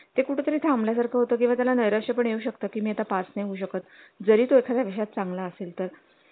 ते कुठे तरी थांबल्या सारखं होतं तेव्हा त्याला निराशे पण येऊ शकत किमी ता पाच नाही होऊ शकत जरी तो एखाद्या विषयात चांगला असेल तर